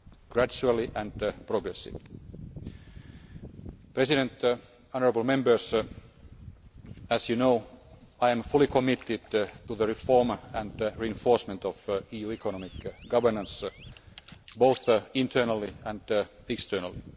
Gradually and progressively. Mr President, honourable Members, as you know, I am fully committed to the reform and reinforcement of EU economic governance, both internally and externally.